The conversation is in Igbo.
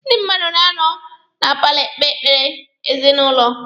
Ndị mmadụ na-anọ na paalọ ekpe ekpere ezinụlọ.